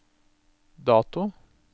dato